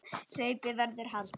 Hlaupið verður haldið.